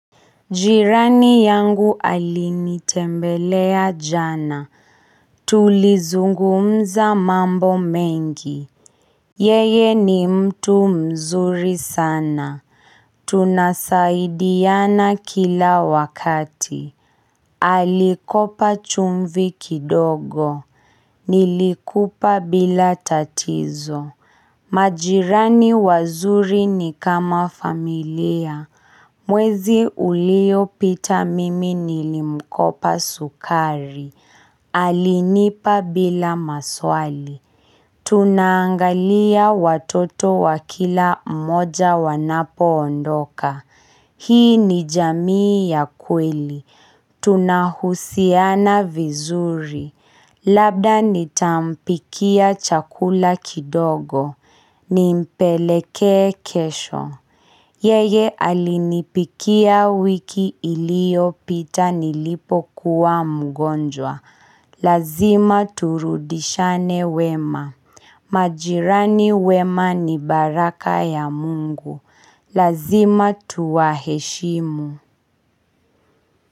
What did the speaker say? Jirani yangu alinitembelea jana, tulizungumza mambo mengi. Yeye ni mtu mzuri sana, tunasaidiana kila wakati. Alikopa chumvi kidogo, nilikupa bila tatizo. Majirani wazuri ni kama familia. Mwezi uliopita mimi nilimkopa sukari. Alinipa bila maswali. Tunaangalia watoto wakila mmoja wanapoondoka. Hii ni jamii ya kweli. Tunahusiana vizuri. Labda nitampikia chakula kidogo. Nimpelekee kesho. Yeye alinipikia wiki iliopita nilipokuwa mgonjwa. Lazima turudishane wema. Majirani wema ni baraka ya Mungu. Lazima tuwaheshimu.